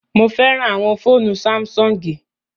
Mo fẹràn àwọn fóònù Sáḿsọ̀ngì